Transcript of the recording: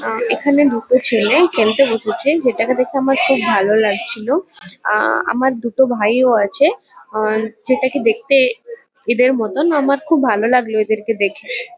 আ এখানে দুটো ছেলে খেলতে বসেছে। যেটাকে দেখে আমার খুব ভালো লাগছিলো। আ আমার দুটো ভাইও আছে আর যেটাকে দেখতে এদের মতন। আমার খুব ভালো লাগলো এদেরকে দেখে।